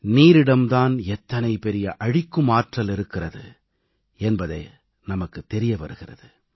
நீரிடம் தான் எத்தனை பெரிய அழிக்கும் ஆற்றல் இருக்கிறது என்பது நமக்குத் தெரிய வருகிறது